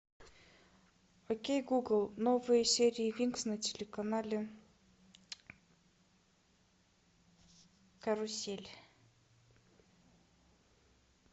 окей гугл новые серии винкс на телеканале карусель